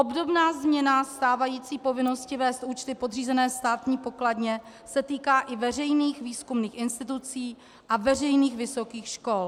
Obdobná změna stávající povinnosti vést účty podřízené Státní pokladně se týká i veřejných výzkumných institucí a veřejných vysokých škol.